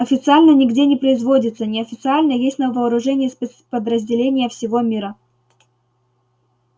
официально нигде не производится неофициально есть на вооружении спецподразделений всего мира